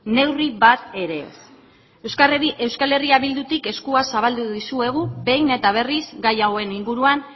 neurria bat ere ez eh bildutik eskua zabaldu dizuegu behin eta berriz gai hauen inguruan